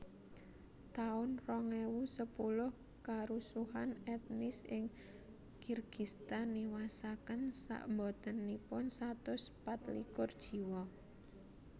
taun rong ewu sepuluh Karusuhan etnis ing Kirgistan niwasaken sakbotenipun satus pat likur jiwa